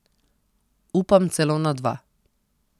Upam celo na dva.